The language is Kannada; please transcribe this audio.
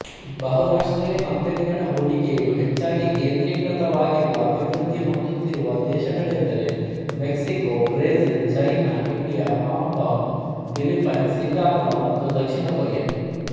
ಬಹುರಾಷ್ಟ್ರೀಯ ಕಂಪನಿಗಳ ಹೂಡಿಕೆಯು ಹೆಚ್ಚಾಗಿ ಕೇಂದ್ರೀಕೃತವಾಗಿರುವ ಅಭಿವೃದ್ಧಿ ಹೊಂದುತ್ತಿರುವ ದೇಶಗಳೆಂದರೆಮೆಕ್ಸಿಕೋಬ್ರೆಜಿಲ್ಚೈನಾಇಂಡಿಯಹಾಂಕಾಂಗ್ಫಿಲಿಫೈನ್ಸ್ಸಿಂಗಪುರ ಮತ್ತು ದಕ್ಷಿಣ ಕೊರಿಯಾ